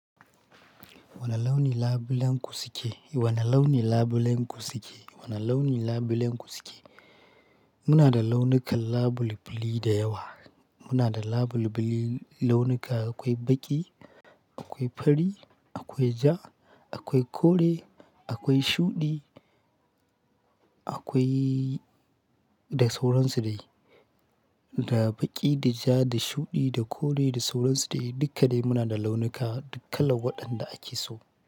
Wane launi labulen ku suke? Wane launi labulen ku suke? Wane launi labulen ku suke? Muna da launukan labulbuli da yawa. Muna da labulbuli launuka akwai baƙi, akwai fari, akwai ja, akwai kore, akwai shuɗi akwai da sauransu dai. Da baƙi, da ja, da shuɗi, da kore, da sauransu dai dukka dai muna da launuka, duk kalan wadanda ake so.